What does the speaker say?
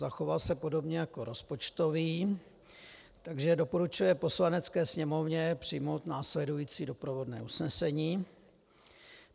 Zachoval se podobně jako rozpočtový, takže doporučuje Poslanecké sněmovně přijmout následující doprovodné usnesení.